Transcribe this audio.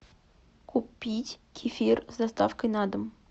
купить кефир с доставкой на дом